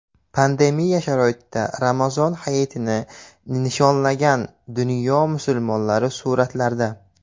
Pandemiya sharoitida Ramazon hayitini nishonlagan dunyo musulmonlari suratlarda.